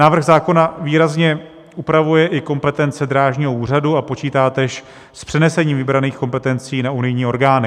Návrh zákona výrazně upravuje i kompetence drážního úřadu a počítá též s přenesením vybraných kompetencí na unijní orgány.